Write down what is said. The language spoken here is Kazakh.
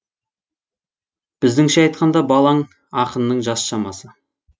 біздіңше айтқанда балаң ақынның жас шамасы